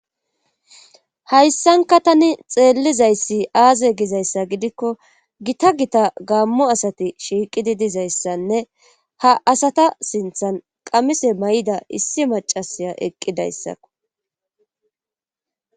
hayssanka tani xeellizayssi aaze gizayssa gidikko gita gita gaammo asati shiiqidi dizayssanne ha asata sinthan qamise may7ida issi macasiya eqqidayssakko